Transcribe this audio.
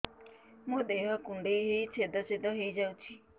ମୋ ଦେହ କୁଣ୍ଡେଇ ହେଇ ଛେଦ ଛେଦ ହେଇ ଯାଉଛି